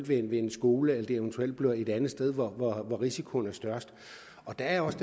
ved en skole eller at det eventuelt bliver et andet sted hvor hvor risikoen er størst der er også